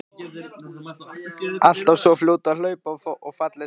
Alltaf svo fljót að hlaupa og falleg saman.